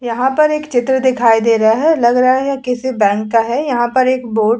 यहां पर एक चित्र दिखाई दे रहा है। लग रहा है किसी बैंक का है। यहां पर एक बोर्ड --